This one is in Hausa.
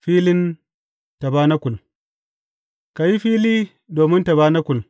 Filin tabanakul Ka yi fili domin tabanakul.